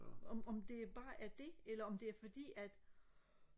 om om det bare er det eller om det er fordi at